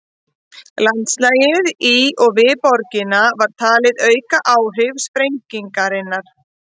Landslagið í og við borgina var talið auka áhrif sprengingarinnar.